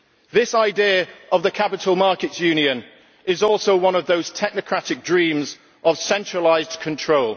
This idea of the capital markets union is also one of those technocratic dreams of centralised control